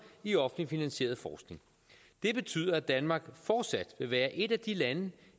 i offentligt finansieret forskning det betyder at danmark fortsat vil være et af de lande